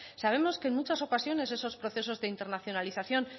sabemos que en muchas ocasiones esos procesos de internacionalización